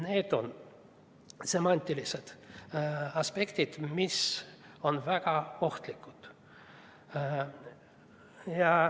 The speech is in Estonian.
Need on semantiliselt aspektid, mis on väga ohtlikud.